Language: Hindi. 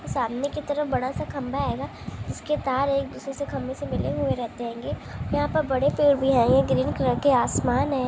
सामने की तरफ बड़ा सा खंभा आएगा उसके तार एक दूसरे से खंभे से मिले हुए रहेते होंगे यहा पर बड़े पेड़ भी है ये ग्रीन कलर के आसमान है।